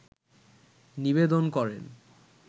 নিবেদন করেন